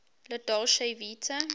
la dolce vita